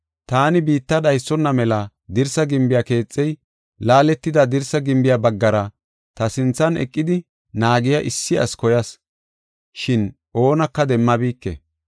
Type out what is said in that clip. “Taani biitta dhaysona mela dirsa gimbiya keexey, laaletida dirsa gimbiya baggara ta sinthan eqidi naagiya issi asi koyas; shin oonaka demmabike.